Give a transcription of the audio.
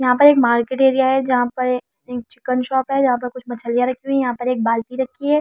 यहाँ पर एक मार्किट एरिया है जहाँ पर एक चिकन शॉप है जहाँ पर कुछ मछलिया रखी हुई है यहाँ पर एक बाल्टी है यहाँ।